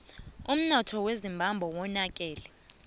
umnotho wezimbabwe wonakele